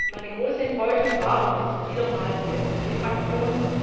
Meine große Enttäuschung war und ist wieder einmal die SD Fraktion.